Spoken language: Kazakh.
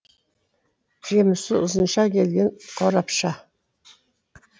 жемісі ұзынша келген қорапша